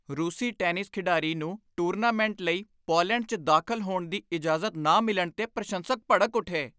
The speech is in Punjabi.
ਰੂਸੀ ਟੈਨਿਸ ਖਿਡਾਰੀ ਨੂੰ ਟੂਰਨਾਮੈਂਟ ਲਈ ਪੋਲੈਂਡ 'ਚ ਦਾਖਲ ਹੋਣ ਦੀ ਇਜਾਜ਼ਤ ਨਾ ਮਿਲਣ 'ਤੇ ਪ੍ਰਸ਼ੰਸਕ ਭੜਕ ਉੱਠੇ।